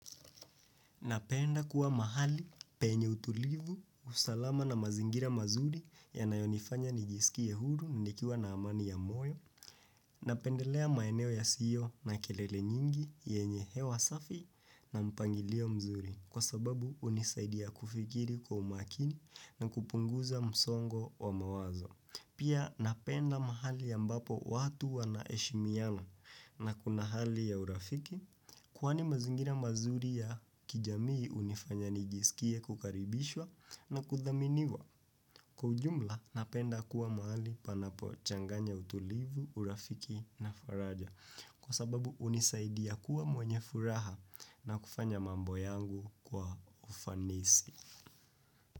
Napenda kuwa mahali penye utulivu, usalama na mazingira mazuri yanayonifanya nijisikie huru nikiwa na amani ya moyo. Napendelea maeneo yasiyo na kelele nyingi yenye hewa safi na mpangilio mzuri kwa sababu hunisaidia kufikiri kwa umakini na kupunguza msongo wa mawazo. Pia napenda mahali ambapo watu wanaeshimiana na kuna hali ya urafiki, kwani mazingira mazuri ya kijamii hunifanya nijisikie kukaribishwa na kuthaminiwa. Kwa ujumla napenda kuwa mahali panapo changanya utulivu, urafiki na faraja. Kwa sababu unisaidia kuwa mwenye furaha na kufanya mambo yangu kwa ufanisi.